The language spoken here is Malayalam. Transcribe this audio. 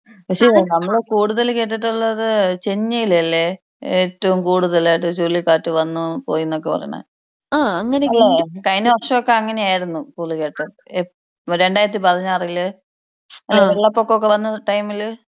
പക്ഷെ നമ്മൾ കൂടുതൽ കെട്ടിട്ടുള്ളത് ചെന്നൈയിൽ അല്ലെ ഏറ്റവും കൂടുതലായിട്ട് ചുഴലി കാറ്റ് വന്നു പോയിന്നൊക്കെ പറയിണെ. അല്ല കഴിഞ്ഞ വർഷമൊക്കെ അങ്ങനെയായിരുന്നു ചുഴലി കാറ്റ് എപ്പോ രണ്ടായിരത്തി പതിനാറിൽ ഏഹ് വെള്ളപൊക്കെ ഒകെ വന്ന ടൈംല്.